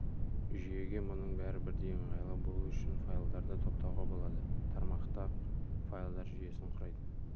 жүйеге мұның бәрі бірдей ыңғайлы болу үшін файлдарды топтауға болады тармақтық файлдар жүйесін құрайтын